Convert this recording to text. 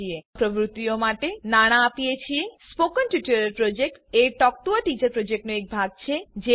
અમે આ તમામ પ્રવૃત્તિઓ માટે નાણા આપીએ છે spoken tutorial project a talk to a teacher પ્રોજેક્ટનો એક ભાગ છે